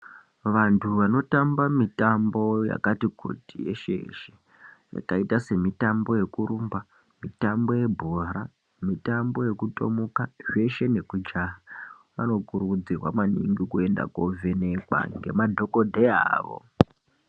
Vantu vanotamba mitambo yakati kuti veshe yakaita semitambo yekurumba, mitambo nebhora, mitambo yekutomuka zveshe nekujaha vanokurudzirwa maningi kuenda kovhenekwa ngemadhokodheya avo.